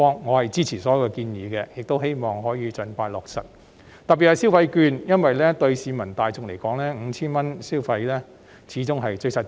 我支持並希望可以盡快落實全部建議，尤其是消費券，因為對市民大眾而言 ，5,000 元消費券始終最實際。